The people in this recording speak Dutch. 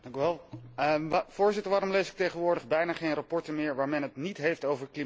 Voorzitter, waarom lees ik tegenwoordig bijna geen verslagen meer waar men het niet heeft over klimaatverandering?